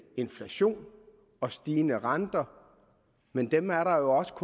inflation og stigende renter men dem er der jo også